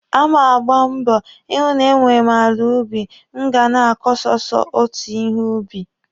A ma agba mbọ ịhụ na e nwere m ala ubi m ga na-akọ sọsọ otu ihe ubi.